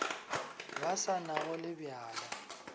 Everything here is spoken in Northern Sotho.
ba sa nago le bjana